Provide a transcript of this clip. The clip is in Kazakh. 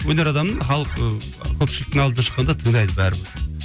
өнер адамын халық ыыы көпшіліктің алдына шыққанда тыңдайды бәрібір